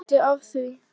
Er hluti af því?